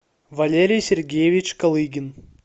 валерий сергеевич калыгин